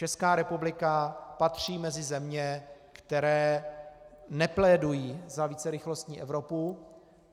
Česká republika patří mezi země, které neplédují za vícerychlostní Evropu.